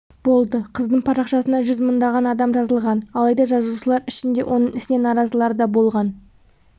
болды қыздың парақшасына жүз мыңдаған адам жазылған алайда жазылушылар ішінде оның ісіне наразылар да болған